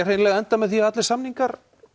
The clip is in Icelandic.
hreinlega enda með því að allir samningar